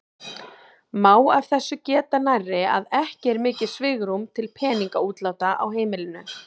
Má af þessu geta nærri að ekki er mikið svigrúm til peningaútláta úr heimilinu.